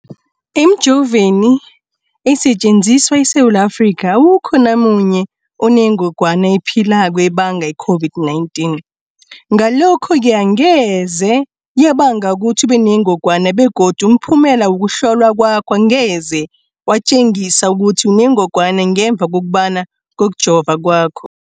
Emijoveni esetjenziswa eSewula Afrika, awukho namunye onengog wana ephilako ebanga i-COVID-19. Ngalokho-ke angeze yabanga ukuthi ubenengogwana begodu umphumela wokuhlolwan kwakho angeze watjengisa ukuthi unengogwana ngemva kokuhlaba, kokujova kwakho.